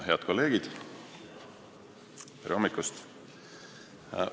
Head kolleegid, tere hommikust!